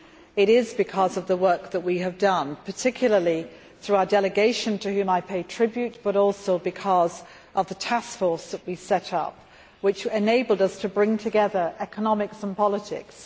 It is because of the work that we have done, particularly through our delegation, to whom I pay tribute, but also because of the taskforce we set up, which enabled us to bring together economics and politics.